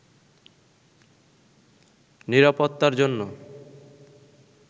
নিরাপত্তার জন্য